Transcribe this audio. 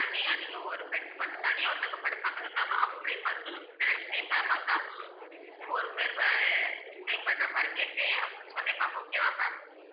தனியா நீங்க ஒரு bed மட்டும் தனியா ஒருத்தவங்க படுப்பாங்கள ma'am அப்படி மட்டும் நெனச்சி கேட்டா பார்த்தா ஒருப்பேரு வ~ stay பண்ற மாதிரி கேட்ட அப்போ சொன்னிங்களா ma'am okay வா ma'am